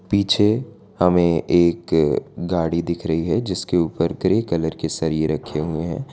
पीछे हमें एक गाड़ी दिख रही है जिसके ऊपर ग्रे कलर के सरिये रखे हुएं हैं।